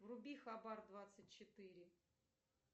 вруби хабар двадцать четыре